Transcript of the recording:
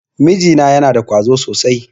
Miji na yana da ƙwazo sosai.